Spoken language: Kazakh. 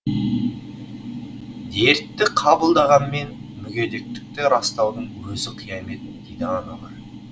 дертті қабылдағанмен мүгедектікті растаудың өзі қиямет дейді аналар